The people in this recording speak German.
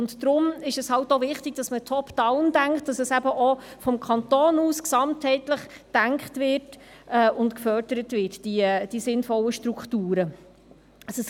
Deshalb ist es halt auch wichtig, dass man «Top down» denkt, dass auch vom Kanton aus gesamtheitlich gedacht wird und die sinnvollen Strukturen gefördert werden.